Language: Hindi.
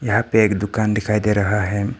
यहां पे एक दुकान दिखाई दे रहा है।